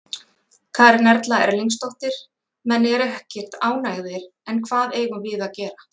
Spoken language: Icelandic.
Karen Erla Erlingsdóttir: Menn eru ekkert ánægðir, en hvað eigum við að gera?